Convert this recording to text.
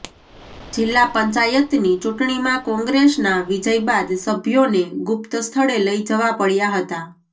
જિલ્લા પંચાયતની ચૂંટણીમાં કોંગ્રેસના વિજય બાદ સભ્યોને ગુપ્ત સ્થળે લઇ જવા પડ્યા હતા